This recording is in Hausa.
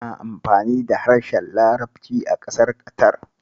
Ana amfani da harshen larabci a ƙasar Ƙatar.